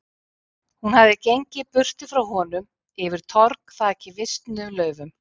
Hún hafði gengið burtu frá honum, yfir torg þakið visnuðum laufum.